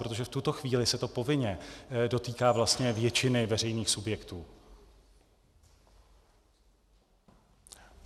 Protože v tuto chvíli se to povinně dotýká vlastně většiny veřejných subjektů.